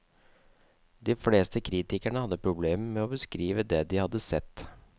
De fleste kritikere hadde problemer med å beskrive det de hadde sett.